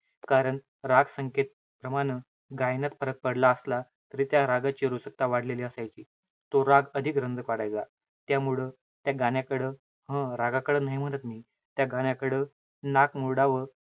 कारण राग संकेत प्रमाणं, गायनात फरक पडला असला तरी त्या रागाची वाढलेली असायची. तो राग अधिक रंग पाडायचा. त्यामुळं त्या गाण्याकडं, हं रागाकडे नाई म्हणत मी, त्या गाण्याकडं नाक मुरडावं,